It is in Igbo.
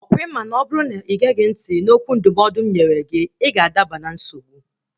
Ọkwa ị ma na ọ bụrụ na ị geghị ntị na okwu ndụmọdụ m nyere gị, ị ga-adaba na nsogbu?